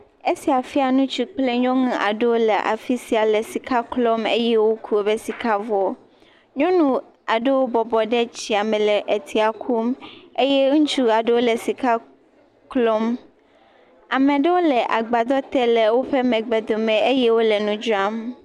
Esia fia ŋutsu kple nyɔnu aɖewo le afi sia le sika klɔm eye woku woƒe sika vɔ. Nyɔnu aɖewo bɔbɔ le tsia me le tsia kum eye ŋutsu aɖewo le sika klɔm. Ame aɖewo le gbadɔ te le woƒe megbe dome eye wole nu dzram.